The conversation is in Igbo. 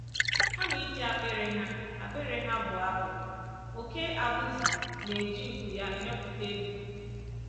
Kama iji akpịrị ha akpịrị ha bụọ abụ, oké abụzụ na-eji nku ya emepụta egwú.